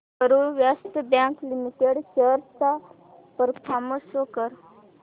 Karur Vysya bank limited shares चा performance show कर